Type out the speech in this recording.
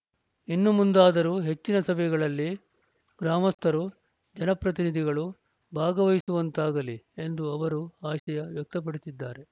ಇನ್ನು ಮುಂದಾದರೂ ಹೆಚ್ಚಿನ ಸಭೆಗಳಲ್ಲಿ ಗ್ರಾಮಸ್ಥರು ಜನಪ್ರತಿನಿಧಿಗಳು ಭಾಗವಹಿಸುವಂತಾಗಲಿ ಎಂದು ಅವರು ಆಶಯ ವ್ಯಕ್ತಪಡಿಸಿದ್ದಾರೆ